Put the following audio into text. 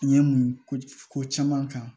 Ɲɛ mun ko ko caman kan